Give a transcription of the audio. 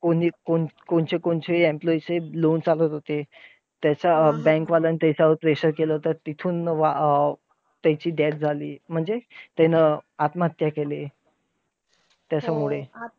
कोणी कोण कोणचे कोणचे employee चे loan तसेच होते. त्याचा bank वाल्यांन त्याच्यावर pressure केलं तर तिथून अं त्याची death झाली. म्हणजे आत्महत्या केली. त्याच्यामुळे